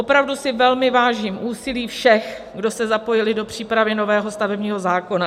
Opravdu si velmi vážím úsilí všech, kdo se zapojili do přípravy nového stavebního zákona.